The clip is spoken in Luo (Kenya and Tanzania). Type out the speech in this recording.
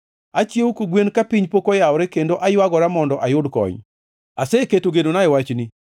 Achiewo kogwen ka piny pok oyawore kendo aywagora mondo ayud kony; aseketo genona e wachni.